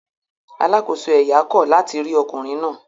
Alákòóso ẹ̀yà kọ̀ láti rí ọkùnrin náà